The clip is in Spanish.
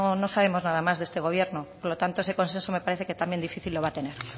no sabemos nada más de este gobierno por lo tanto ese consenso me parece que también difícil lo va a tener